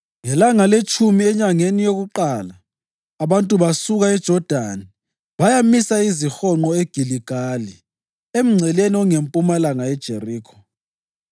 Ngelanga letshumi enyangeni yakuqala abantu basuka eJodani bayamisa izihonqo eGiligali emngceleni ongempumalanga yeJerikho.